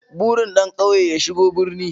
Burin ɗan ƙauye ya shigo birni